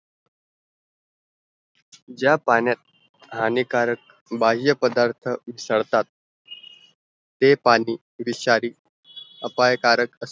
ज्या पाण्यात हानिकारक बायापदार्त उसडतात ते पाणी विषारी अपायकारक